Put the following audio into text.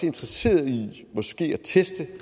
interesseret i måske at teste